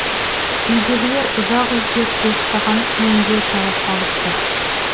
үйдегілер ұзақ іздеп ұйықтаған күйімде тауып алыпты